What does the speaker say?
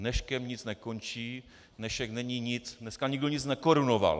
Dneškem nic nekončí, dnešek není nic, dneska nikdo nic nekorunoval.